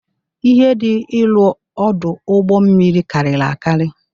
Ihe dị ịrụ ọdụ ụgbọ mmiri karịrị akari.